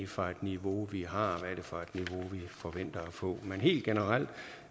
for et niveau vi har og for et niveau vi forventer at få men helt generelt